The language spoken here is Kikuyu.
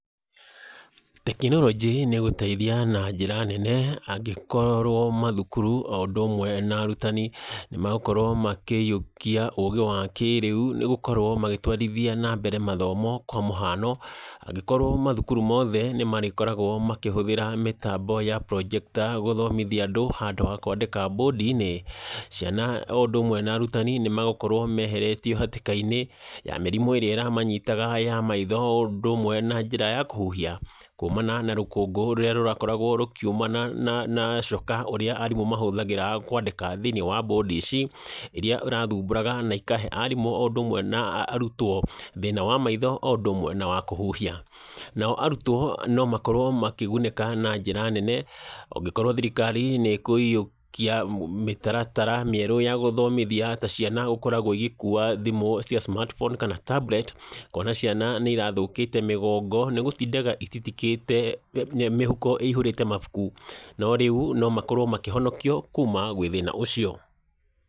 Tekinoronjĩ nĩ gũteithia na njĩra nene angĩkorwo mathukuru o ũndũ ũmwe narutani, nĩ megũkorwo makĩywokia ũgĩ wa kĩrĩu, nĩ gũkorwo magĩtwarithia nambere mathomo, kwa mũhano, angĩkorwo mathukuru mothe nĩ marĩkoragwo makĩhũthĩra mĩtambo ya Projector gũthomithia andũ, handũ ha kwandĩka mbũndinĩ, ciana o ũndũ ũmwe na arutani nĩ megukorwo meheretio hatĩka-inĩ ya mĩrimũ ĩrĩa ĩramanyitaga ya maitho o ũndũ ũmwe na njĩra ya kũhuhia, kuumana na rũkũngũ rũrĩa rũrakoragwo rũkiumana na na nacoka ũrĩa arimũ mahũthagĩra kwandĩka thĩinĩ wa mbũndi ici, iria ĩrathumbũraga na ikahe arimũ, o ũndũ ũmwe na arutwo, thĩna wa maitho, o ũndũ ũmwe na wa kũhuhia, nao arutwo, no makorwo makĩgunĩka na njĩra nene, ongĩkorwo thirikari nĩ ĩkũywokia mĩtaratara mĩerũ ya gũthnomithia ta ciana gũkoragwo igĩkuwa thimũ cia Smart Phone, kana Tablet, kuona ciana nĩ irathũkĩte mĩgongo, nĩ gũtindaga ititikĩte mĩhuko ĩhũrĩte mabuku, no rĩu no makorwo makĩhonokio kuuma gwĩthĩna ũcio.